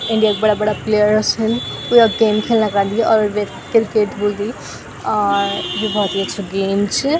इंडिया क बड़ा-बड़ा प्लेयर्स छिन वू यख गेम खिलना क अन्दी और वेथ क्रिकेट बुल्दी और यु बहौत ही अछू गेम छ।